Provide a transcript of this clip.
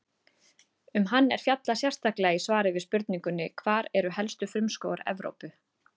Um hann er fjallað sérstaklega í svari við spurningunni Hvar eru helstu frumskógar Evrópu?